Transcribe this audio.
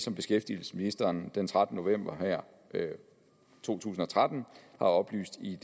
som beskæftigelsesministeren den trettende november to tusind og tretten har oplyst i